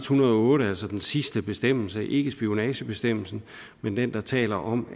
hundrede og otte altså den sidste bestemmelse ikke spionagebestemmelsen men den der taler om